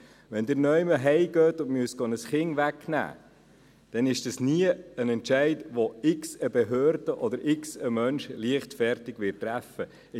Wenn Sie irgendwo nach Hause gehen und ein Kind wegnehmen müssen, dann ist das nie ein Entscheid, den irgendeine Behörde oder irgendein Mensch leichtfertig treffen wird.